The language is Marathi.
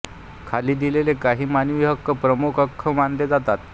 खाली दिलेले काही मानवी हक्क प्रमुख हक्क मानले जातात